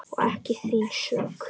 Og ekki þín sök.